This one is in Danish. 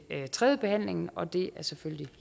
tredje behandling og det er selvfølgelig